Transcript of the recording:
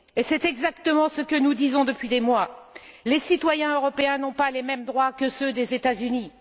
C'est exactement ce que nous disons depuis des mois les citoyens européens n'ont pas les mêmes droits que ceux des États Unis.